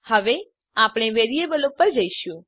હવે આપણે વેરીએબલો પર જઈશું